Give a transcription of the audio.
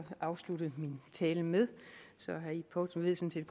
afslutte min tale med så herre ib poulsen ved sådan